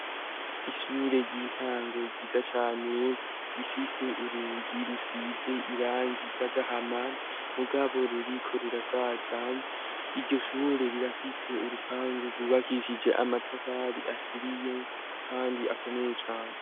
Ishure ry'intango ryiza cane rifise urugi rusize irangi ry'agahama mugabo ruriko rurasaza, iryo shure rirafise urupangu rwubakishije amatafari aturiye kandi akomeye cane.